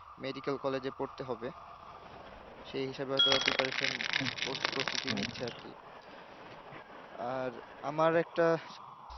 medical college পড়তে হবে সেই হিসাবে preparation প্রস প্রস্তুতি নিচ্ছে আরকি আর আমার একটা